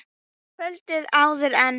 Kvöldið áður en